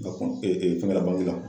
N ka kɔn fɛngɛ la bangi la.